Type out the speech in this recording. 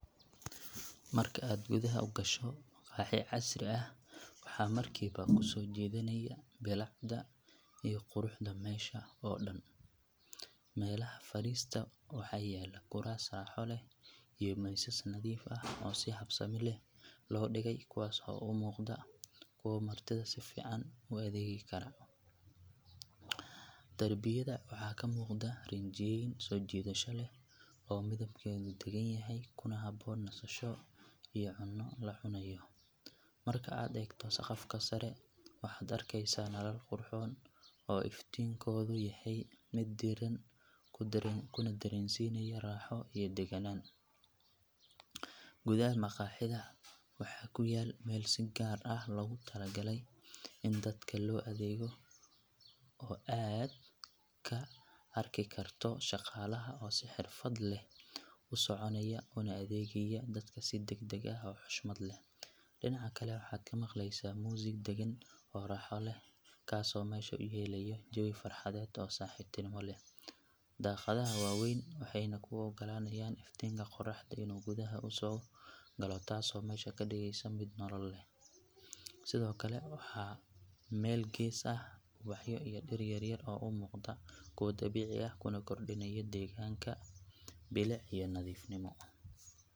Marka aad gudaha u gasho maqaaxi casri ah waxa markiiba ku soo jiidanaya bilicda iyo quruxda meesha oo dhan. Meelaha fadhiista waxaa yaal kuraas raaxo leh iyo miisas nadiif ah oo si habsami leh loo dhigay kuwaas oo u muuqda kuwo martida si fiican ugu adeegi kara. Darbiyada waxaa ka muuqda rinjiyeyn soo jiidasho leh oo midabkeedu deggan yahay kuna habboon nasasho iyo cunno la cunayo. Marka aad eegto saqafka sare waxaad arkaysaa nalal qurxoon oo iftiinkoodu yahay mid diirran kuna dareensiinaya raaxo iyo degganaan. Gudaha maqaaxida waxaa ku yaal meel si gaar ah loogu talagalay in dadka loo adeego oo aad ka arki karto shaqaalaha oo si xirfad leh u soconaya una adeegaya dadka si degdeg ah oo xushmad leh. Dhinaca kale waxaad ka maqleysaa muusig deggan oo raaxo leh kaasoo meesha u yeelaya jawi farxadeed oo saaxiibtinimo leh. Daaqadaha waa waaweyn waxayna kuu oggolaanayaan iftiinka qoraxda inuu gudaha usoo galo taasoo meesha ka dhigaysa mid nolol leh. Sidoo kale waxaa meel gees ah yaal ubaxyo iyo dhir yar yar oo u muuqda kuwo dabiici ah kuna kordhinaya deegaanka bilic iyo nadiifnimo.